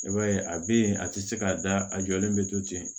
I b'a ye a bɛ yen a tɛ se ka da a jɔlen bɛ to ten